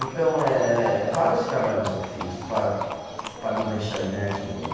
Então eh, vários trabalhos eu fiz para, para não deixar de ganhar dinheiro.